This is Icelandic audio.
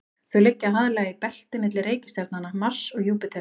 þau liggja aðallega í belti milli reikistjarnanna mars og júpíters